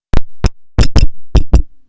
привет